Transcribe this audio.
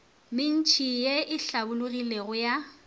mentši ye e hlabologilego ya